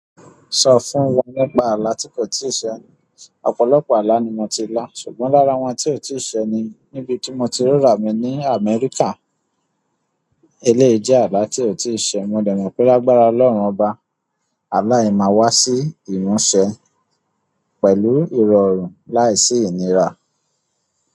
Sọ fún wọn nípa àlá tí kò tíì ṣẹ. Ọ̀pọ̀lọpọ̀ àlá ni mo ti lọ, ṣùgbọ́n lára wọn tí ó ti ì ṣẹ ni níbi tí mo ti ríra mi ní Amẹ́ríkà. Eléyìí jẹ́ àlá tí ó ti ì ṣẹ. Mo dẹ̀ mọ̀ pé lágbára Ọlọ́run Ọba, àlá yẹn máa wá sí ìmúṣẹ pẹ̀lú ìrọ̀rùn láìsí ìnira.